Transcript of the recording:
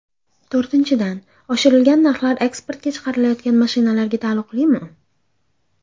To‘rtinchidan, oshirilgan narxlar eksportga chiqarilayotgan mashinalarga taalluqlimi?